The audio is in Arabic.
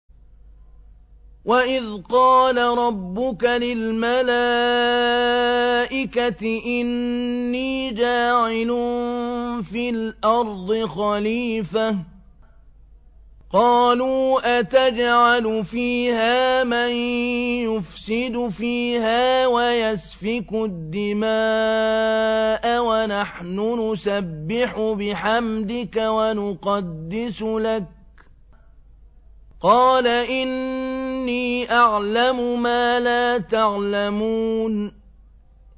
وَإِذْ قَالَ رَبُّكَ لِلْمَلَائِكَةِ إِنِّي جَاعِلٌ فِي الْأَرْضِ خَلِيفَةً ۖ قَالُوا أَتَجْعَلُ فِيهَا مَن يُفْسِدُ فِيهَا وَيَسْفِكُ الدِّمَاءَ وَنَحْنُ نُسَبِّحُ بِحَمْدِكَ وَنُقَدِّسُ لَكَ ۖ قَالَ إِنِّي أَعْلَمُ مَا لَا تَعْلَمُونَ